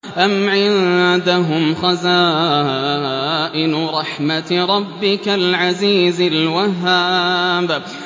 أَمْ عِندَهُمْ خَزَائِنُ رَحْمَةِ رَبِّكَ الْعَزِيزِ الْوَهَّابِ